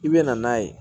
I bɛ na n'a ye